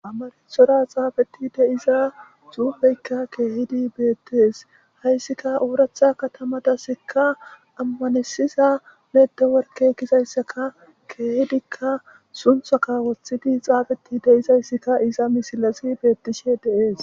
Amarathora xaafetidi de'iza xuufeyka keehidi beetes haysika oratha katamatasika amanetisiza netiworke Giza loythidi xaafetidi de'izaysika iza misilezi beetishe de'es.